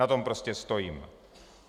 Na tom prostě stojím.